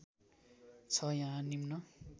छ यहाँ निम्न